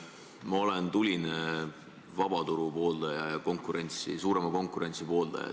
Ma olen tuline vaba turu pooldaja ja suurema konkurentsi pooldaja.